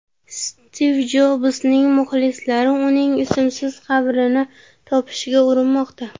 Stiv Jobsning muxlislari uning ismsiz qabrini topishga urinmoqda.